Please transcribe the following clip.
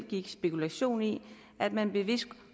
gik spekulation i at man bevidst